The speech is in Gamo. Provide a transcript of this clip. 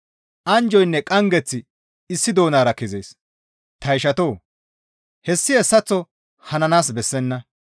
Anjjoynne qanggeththi issi doonara kezees. Ta ishatoo! Hessi hessaththo hananaas bessenna.